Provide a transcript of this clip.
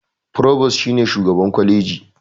Furobas shi ne shugaban kwaleji.